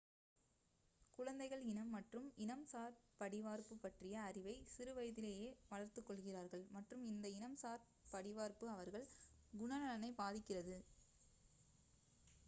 குழந்தைகள் இனம் மற்றும் இனம் சார் படிவார்ப்பு பற்றிய அறிவை சிறு வயதிலேயே வளர்த்துக் கொள்கிறார்கள் மற்றும் இந்த இனம் சார் படிவார்ப்பு அவர்கள் குணநலனைப் பாதிக்கிறது